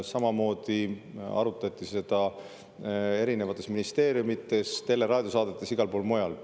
Samamoodi arutati seda erinevates ministeeriumides, tele- ja raadiosaadetes, igal pool mujal.